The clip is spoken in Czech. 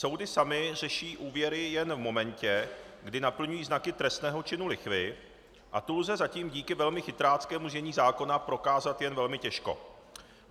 Soudy samy řeší úvěry jen v momentě, kdy naplňují znaky trestného činu lichvy, a tu lze zatím díky velmi chytráckému znění zákona prokázat jen velmi těžko.